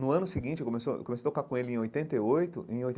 No ano seguinte, eu começou eu comecei a tocar com ele em oitenta e oito em oitenta.